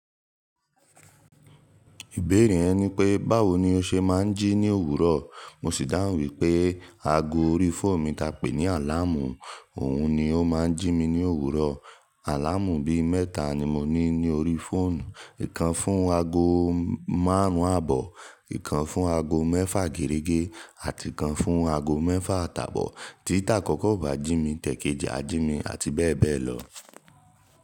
Ìbéèrè ẹ ni pé, báwo ni o ṣe máa ń jí ní òwúrọ̀? Mo sì dáhùn wípé ago orí fóònù mi ta pè ní àláàmù, òun ni ó máa ń jí mi ní òwúrọ̀. Àláàmù bí mẹ́ta ni mo ní ní orí fóònù. Ìkan fún ago márùn-ún àbọ̀, ìkan fún ago mẹ́fà gẹ̀rẹ́gẹ́, àti kan fún ago mẹ́fà àtàbọ̀. Tí ta àkọ́kọ́ ò bá jí mi, ti ẹ̀keji á jí mi àti bẹ́ẹ̀ bẹ́ẹ̀ lọ.